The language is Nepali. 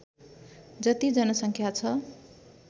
जति जनसङ्ख्या छ